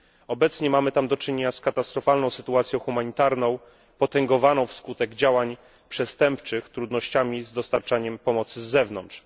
Obecnie mamy tam do czynienia z katastrofalną sytuacją humanitarną, potęgowaną, wskutek działań przestępczych, trudnościami z dostarczaniem pomocy z zewnątrz.